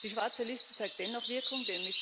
Die schwarze Liste zeigt dennoch Wirkung